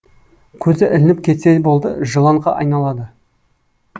көзі ілініп кетсе болды жыланға айналады